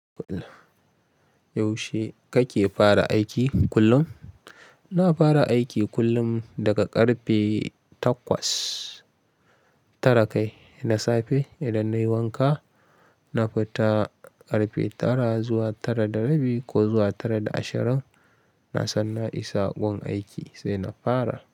Yaushe kake fara aiki kullum? Na fara aiki kullum daga karfe takwas tara kai. Na safe idan nayi wanka, na fita karfe tara zuwa tara da rabi ko zuwa tara da ashirin, nasan na isa gun aiki sai na fara.